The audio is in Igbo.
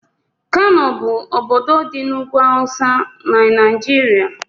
Kano bụ ọbọdọ dị n'ugwú awụsa n'naijiria.